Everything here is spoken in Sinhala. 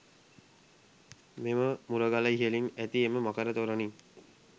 මෙම මුරගල ඉහළින් ඇති එම මකර තොරණින්